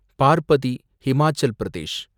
Parbati ,Himachal Pradesh